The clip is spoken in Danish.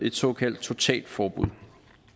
et såkaldt totalforbud